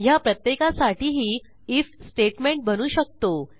ह्या प्रत्येकासाठीही IF statement बनवू शकतो